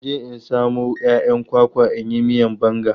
Na je in samo 'ya'yan kwakwa in yi miyan banga.